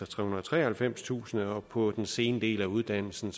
trehundrede og treoghalvfemstusind kr og på den sene del af uddannelsen